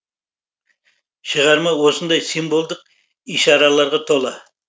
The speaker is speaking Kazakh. шығарма осындай символдық ишараларға тола